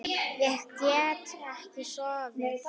Ég get ekki sofið.